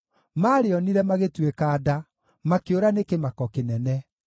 maarĩonire, magĩtuĩka nda; makĩũra nĩ kĩmako kĩnene.